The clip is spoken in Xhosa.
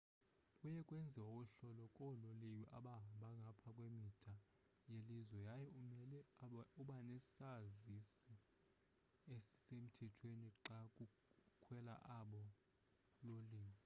kuye kwenziwe uhlolo koololiwe abahamba ngapha kwemida yelizwe yaye umele ubenesazisi esisemthethweni xa ukhwela abo loliwe